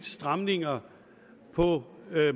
stramninger på